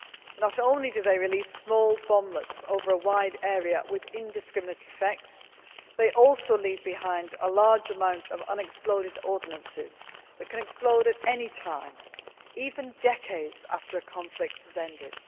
Not only do they release small bomblets over a wide area with indiscriminate effects, they also leave behind a large amount of unexploded ordnance that can explode at any time, even decades after a conflict has ended.